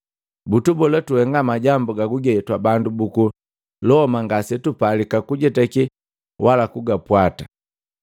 Butubola tuhenga majambo gaguge twa bandu buku Loma ngase tupalika kujetake wala kugapwata.”